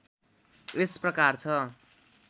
यस प्रकार छ